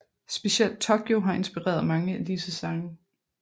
Specielt Tokyo har inspireret mange af disse sange